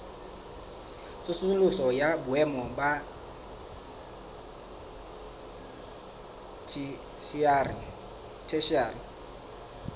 tsosoloso ya boemo ba theshiari